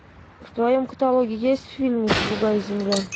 в твоем каталоге есть фильмик другая земля